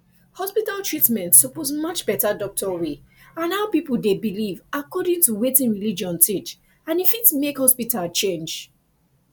hospital treatment suppose match better doctor way and how people dey believe according to wetin religion teach and e fit make hospital change